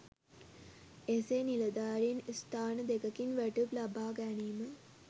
එසේ නිලධාරින් ස්ථාන දෙකකින් වැටුප් ලබා ගැනීම